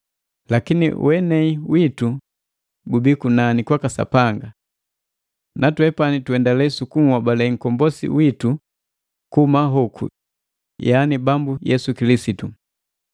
Lakini wenei witu gubii kunani kwaka Sapanga. Natwe tunndendale sukuhobale nkombosi witu kuhuma hoku yani, Bambu Yesu Kilisitu,